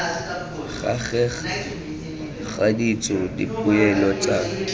gareg ga ditso dipoelo tsa